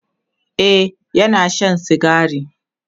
e Yana Shan sigari